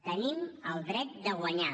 tenim el dret de guanyar